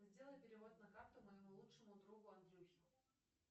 сделай перевод на карту моему лучшему другу андрюхе